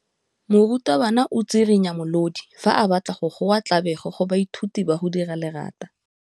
Morutwabana o tswirinya molodi fa a batla go goa tlabego go baithuti ba go dira lerata.